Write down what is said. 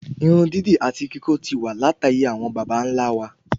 Irun dídì àti kikó ti wa lataye àwọn bàbá nlá wa